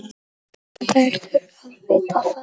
Hann verður að vita það.